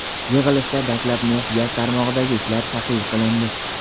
Yig‘ilishda dastlab neft-gaz tarmog‘idagi ishlar tahlil qilindi.